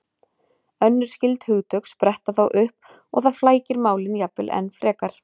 Önnur skyld hugtök spretta þá upp og það flækir málin jafnvel enn frekar.